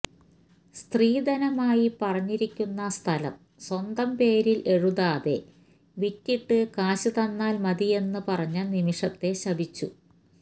സ്ത്രീധനമായി പറഞ്ഞിരിക്കുന്ന സ്ഥലം സ്വന്തം പേരിൽ എഴുതാതെ വിറ്റിട്ട് കാശ് തന്നാൽ മതിയെന്ന് പറഞ്ഞ നിമിഷത്തെ ശപിച്ചു